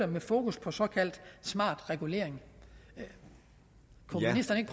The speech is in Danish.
med fokus på såkaldt smart regulering kunne ministeren ikke